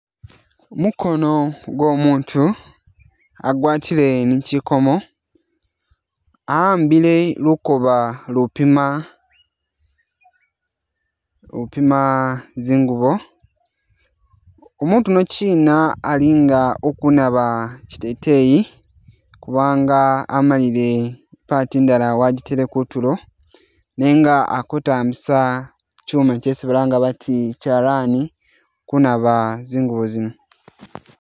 Mukoono gw'omutu agwatile ni kyikomo awambile lukooba lupima lupima zingubo umutu uno kyina ali nga ukunaaba kyiteteyi kubanga amalile i’part indala wajitele kutulo nenga akutambisa kyuma kyesi balanga bati kyalani kunaaba zingubo zino.